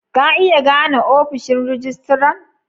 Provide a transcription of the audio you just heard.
Ka iya gane ofishin rijistiran?